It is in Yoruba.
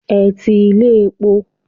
Ẹ ti ilé epo.